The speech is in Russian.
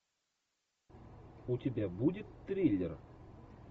у тебя будет триллер